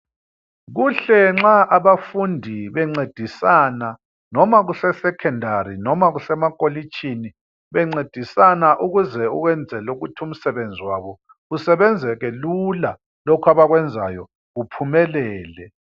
Kuhle nxa abafundi bencedisana noma kuse secondary noma kusemakolitshini bencedisana ukwenzela ukuthi umsebenzi wabo usebenzeke Lula lokhu abakwenzayo kuphumelele.